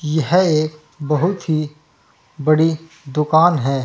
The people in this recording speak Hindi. यह एक बहुत ही बड़ी दुकान है।